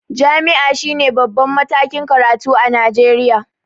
Jam'i shine babban matakin karatu a Najeriya